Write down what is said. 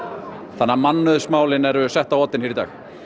þannig að mannauðsmálin eru sett á oddinn hér í dag